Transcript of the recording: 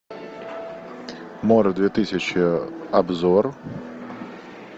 море две тысячи обзор